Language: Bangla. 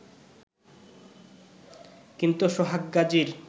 কিন্তু সোহাগ গাজীর